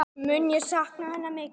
Mun ég sakna hennar mikið.